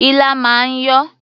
Ilá máa ń yọ̀.